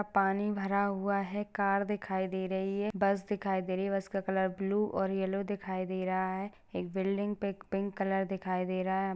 पानी भरा हुआ है कार दिखाई दे रही है बस दिखाई दे रही है बस का कलर ब्लू और येल्लो दिखाई दे रहा है एक बिल्डिंग पे एक पिंक कलर दिखाई दे रहा है।